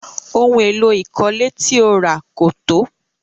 Ohun èlò ìkọ́lé ti o ra kò tó.